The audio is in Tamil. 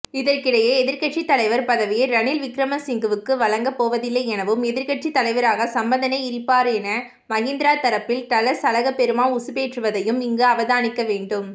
இதற்கிடையே எதிர்கட்சித்தலைவர் பதவியை ரணில் விக்கிரமசிங்கவுக்குவழங்கப் போவதில்லையெனவும் எதிர்கட்சித் தலைவராக சம்பந்தனே இருப்பாரென மகிந்தரப்பில்டலஸ் அழகப்பெரும உசுப்பேற்றுவதையும் இங்கு அவதானிக்கவேண்டும்